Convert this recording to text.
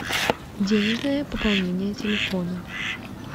деежное пополнение телефона